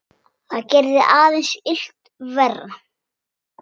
Það gerði aðeins illt verra.